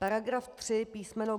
Paragraf 3 písm.